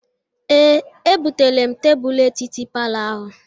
Ee, ebuteela m tebulu etiti palọ ahụ.